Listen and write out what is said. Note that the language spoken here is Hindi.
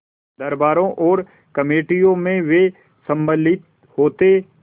दरबारों और कमेटियों में वे सम्मिलित होते